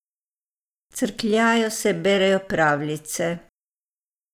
Crkljajo se, berejo pravljice.